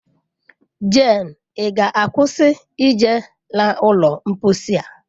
Jane, ị ga-akwụsị ije n'ụlọ mposi a!